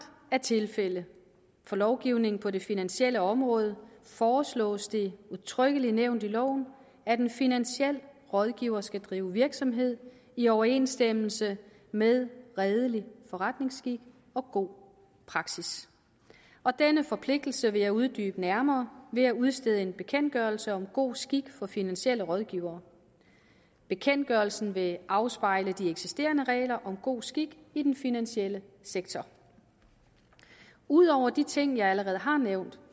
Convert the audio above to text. er tilfældet for lovgivning på det finansielle område foreslås det udtrykkeligt nævnt i loven at en finansiel rådgiver skal drive virksomhed i overensstemmelse med redelig forretningsskik og god praksis og denne forpligtelse vil jeg uddybe nærmere ved at udstede en bekendtgørelse om god skik for finansielle rådgivere bekendtgørelsen vil afspejle de eksisterende regler om god skik i den finansielle sektor ud over de ting jeg allerede har nævnt